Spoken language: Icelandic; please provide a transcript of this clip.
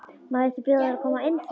Má ekki bjóða þér að koma inn fyrir?